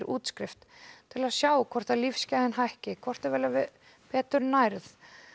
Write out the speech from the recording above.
til að sjá hvort lífsgæðin hækki hvort þau verði betur nærð